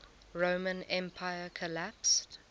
roman empire collapsed